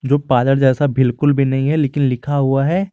पादर जैसा भिलकुल भी नहीं है लेकिन लिखा हुआ है।